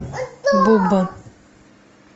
буба